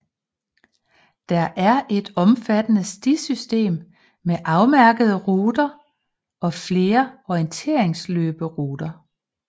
Der er et omfattende stisystem med afmærkede ruter og flere orienteringsløberuter